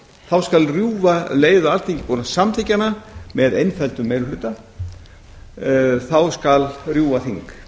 þá skal um leið og alþingi er búið að samþykkja hana með einföldum meiri hluta rjúfa þing